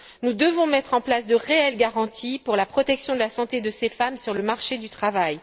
Nous devons mettre en place de réelles garanties pour la protection de la santé de ces femmes sur le marché du travail.